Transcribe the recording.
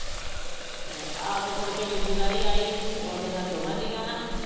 ਆਪ ਮੁੜਕੇ ਦੂਜੀ ਵਾਰੀ ਆਈ ਉਹਦੇ ਨਾਲ ਦੋਵਾਂ ਜੀਆਂ ਨਾਲ।